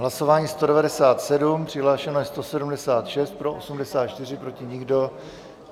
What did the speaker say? Hlasování 197, přihlášeno je 176, pro 84, proti nikdo.